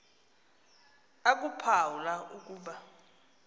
akuphawu la ukuba